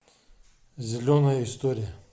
зеленая история